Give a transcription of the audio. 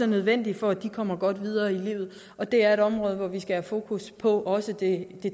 nødvendig for at de kommer godt videre i livet det er et område hvor vi skal have fokus på også det